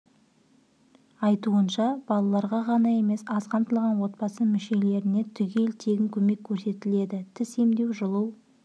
айтуынша балаларға ғана емес аз қамтылған отбасы мүшелеріне түгел тегін көмек көрсетіледі тіс емдеу жұлу